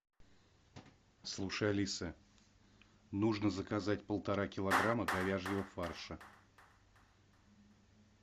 слушай алиса нужно заказать полтора килограмма говяжьего фарша